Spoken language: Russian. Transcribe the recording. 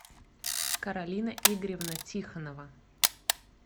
каролина игоревна тихонова